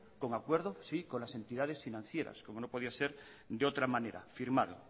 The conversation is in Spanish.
con acuerdo sí con las entidades financieras como no podía ser de otra manera firmado